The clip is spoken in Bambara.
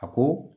A ko